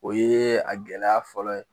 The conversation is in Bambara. O yee a gɛlɛya fɔlɔ ye